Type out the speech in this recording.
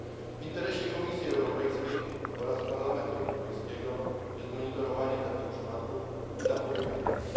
W interesie Komisji Europejskiej oraz Parlamentu Europejskiego jest monitorowanie takich przypadków i zapobieganie im.